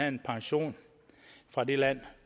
en pension fra det land